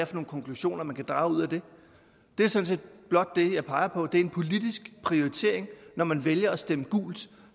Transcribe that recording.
for nogle konklusioner man kan drage ud af det det er sådan set blot det jeg peger på det er en politisk prioritering når man vælger at stemme gult